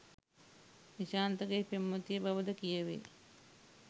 නිශාන්තගේ පෙම්වතිය බවද කියැවේ.